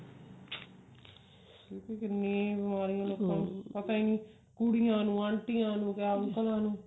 ਕਿਉਂਕਿ ਕਿੰਨੀ ਬਿਮਾਰੀਆਂ ਪਤਾ ਨਹੀਂ ਕੁੜੀਆਂ ਨੂੰ ਆਨਟੀਆਂ ਨੂੰ ਕਿਆ ਅੰਕਲਾਂ ਨੂੰ